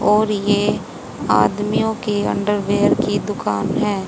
और ये आदमियों के अंडरवियर की दुकान है।